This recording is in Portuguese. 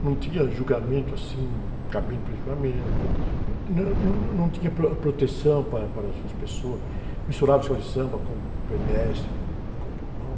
não tinha julgamento assim, cabine para julgamento, não, não, não tinha pro, proteção para, para as pessoas, misturava escola de samba com pedestre, com, com povão